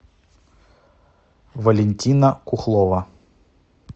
валентина кухлова